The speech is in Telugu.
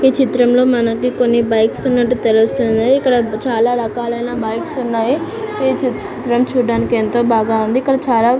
ఈ చిత్రంలో మనకి కొన్ని బైక్స్ ఉన్నటు తెలుస్తున్నాయి. ఇక్కడ చాలా రకాలైన బైక్స్ ఉన్నాయ్. ఈ చిత్రం చూడడానికి ఎంతో చాలా బాగా ఉంది.